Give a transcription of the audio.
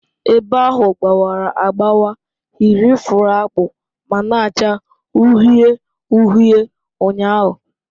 Ebe ahụ gbawara agbawa yiri fụrụ akpụ ma na-acha uhie uhie ụnyahụ